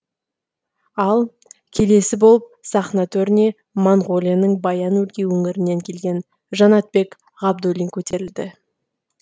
ал келесі болып сахна төріне моңғолияның баян өлгей өңірінен келген жанатбек ғабдуллин көтерілді